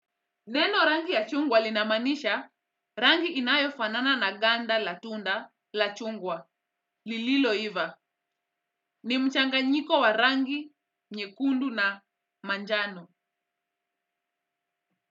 Neno rangi ya chungwa linamaanisha rangi inayofanana na ganda la tunda la chungwa lililoiva ni mchanganyiko wa rangi nyekundu na manjano.